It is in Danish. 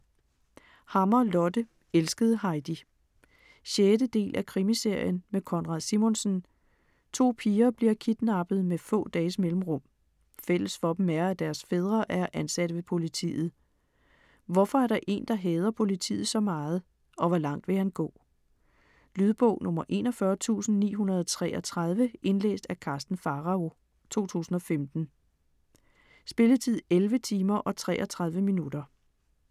Hammer, Lotte: Elskede Heidi 6. del af Krimiserien med Konrad Simonsen. To piger bliver kidnappet med få dages mellemrum. Fælles for dem er at deres fædre er ansat ved politiet. Hvorfor er der en, der hader politiet så meget og hvor langt vil han gå? Lydbog 41933 Indlæst af Karsten Pharao, 2015. Spilletid: 11 timer, 33 minutter.